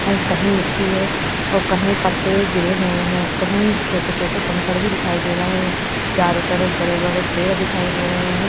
और कहीं मिट्टी है और कहीं पत्ते गिरे हुए हैं कहीं छोटे-छोटे कंकड़ भी दिखाई दे रहे हैं चारों तरफ बड़े-बड़े पेड़ दिखाई दे रहे हैं।